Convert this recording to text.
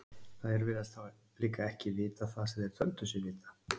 Þeir virðast þá líka ekki vita það sem þeir töldu sig vita.